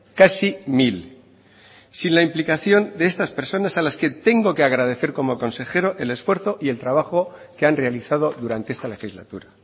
casi mil sin la implicación de estas personas a las que tengo que agradecer como consejero el esfuerzo y el trabajo que han realizado durante esta legislatura